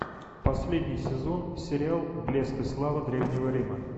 последний сезон сериал блеск и слава древнего рима